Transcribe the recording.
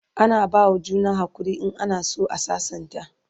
ana bawa juna hakuri in ana San a sassanta